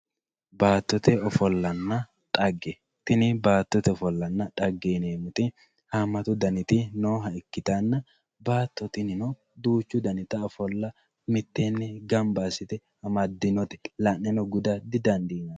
Baattotte offollanna xagge, tini baattotte offollanna xagge yineemoti haamatu daniti nooha ikkitanna baatto tininno duuchu danitta offolla mittenni gamba asite amadino la'ne guda didandinayi